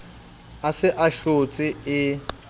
a se a hlotse e